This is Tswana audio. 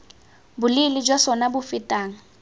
boleele jwa sona bo fetang